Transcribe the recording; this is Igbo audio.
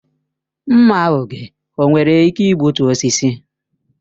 Mma oge o nwere ike igbutu osisi?